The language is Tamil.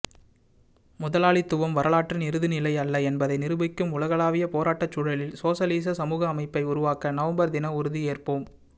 முதலாளித்துவம் வரலாற்றின் இறுதிநிலையல்ல என்பதை நிரூபிக்கும் உலகளாவிய போராட்டச் சூழலில் சோசலிச சமூக அமைப்பை உருவாக்க நவம்பர் தின உறுதியேற்போம்